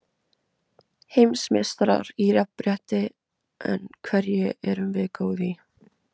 Heimsmeistarar í jafnrétti En hverju erum við góð í?